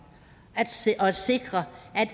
og sikre